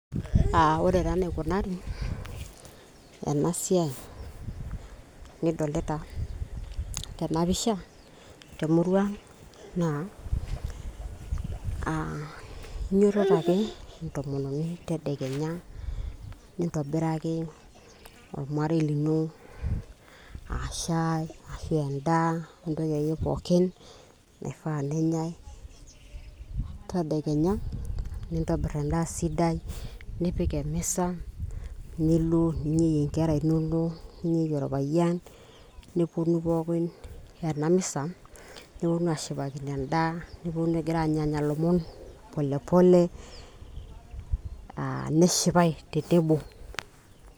uh, ore taa enaikunari ena siai, nidolita tenapisha temurua ang' naa uh, inyototo ake entomononi tedekenya nintobiraki olmarei lino uh, shai arashu endaa entoki akeyie pookin naifaa nenyai tadekenya nintobirr endaa sidai nipik emisa nilo ninyieyie inkera inonok ninyeyie orpayian neponu pookin ena misa niponunu ashipakino endaa niponunu agira anyanya ilomon pole pole uh, neshipae te table.